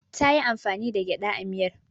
Ta yi amfani da gyaɗa a miyar.